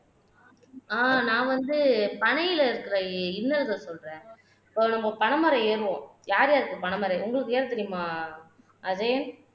ஆஹ் நான் வந்து பனையில இருக்கிற இன்னல்கள் சொல்றேன் இப்போ நம்ம பனைமரம் ஏறுவோம் யார் யாருக்கு பனைமரம் உங்களுக்கு ஏன் தெரியுமா அஜயன்